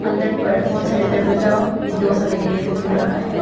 पर बहुत सारे दरवाजा विंडोज़ हमे देखने को मिल रहा है।